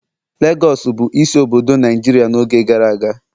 Legọs bụ isi obodo Naijiria n'oge gara aga